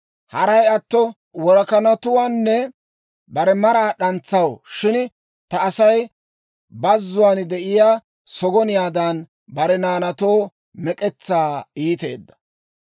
Haray atto worakanatuwaanne bare maraa d'antsaw; shin ta Asay bazzuwaan de'iyaa sogoniyaadan, bare naanaatoo mek'etsaa iiteedda.